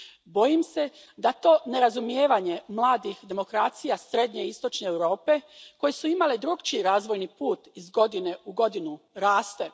Bojim se da to nerazumijevanje mladih demokracija srednje i istočne Europe, koje su imale drukčiji razvojni put, iz godine u godinu raste.